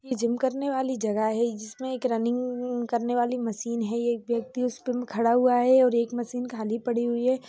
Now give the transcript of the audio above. ये जिम करने वाली जगह है जिसमें एक रनिंग करने वाली मशीन है ये एक व्यक्ति उसपे खड़ा हुआ है और एक मशीन खाली पड़ी हुई है।